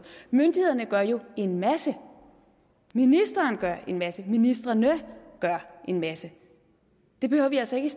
myndighederne gør jo en masse ministeren gør en masse ministrene gør en masse det behøver vi altså ikke